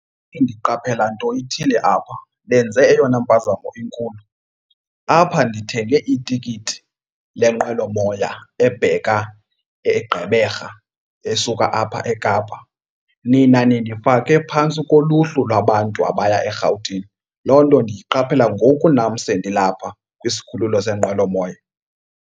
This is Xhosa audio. Ndiqaphela nto ithile apha, nenze eyona mpazamo enkulu. Apha ndithenge itikiti lenqwelomoya ebheka eGqeberha esuka apha eKapa. Nina nindifake phantsi koluhlu lwabantu abaya eRhawutini, loo nto ndiyiqaphela ngoku nam sendilapha kwisikhululo senqwelomoya.